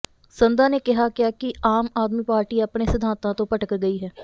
ਸੰਧਾ ਨੇ ਕਿਹਾ ਕਿਹਾ ਕਿ ਆਮ ਆਦਮੀ ਪਾਰਟੀ ਆਪਣੇ ਸਿਧਾਂਤਾਂ ਤੋਂ ਭਟਕ ਗਈ ਹੈ